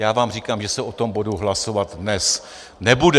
Já vám říkám, že se o tom bodu hlasovat dnes nebude.